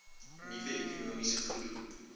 nuwe ekonomiese groei